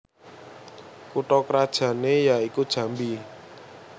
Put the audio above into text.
Kutha krajanne ya iku Jambi